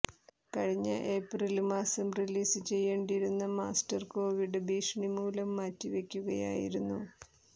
കഴിഞ്ഞ ഏപ്രില് മാസം റിലീസ് ചെയ്യേണ്ടിയിരുന്ന മാസ്റ്റര് കൊവിഡ് ഭീഷണി മൂലം മാറ്റി വെയ്ക്കുകയായിരുന്നു